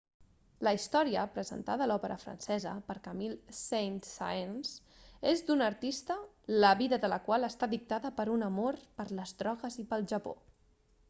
la història presentada a l'òpera francesa per camille saint-saens és d'una artista la vida de la qual està dictada per un amor per les drogues i pel japó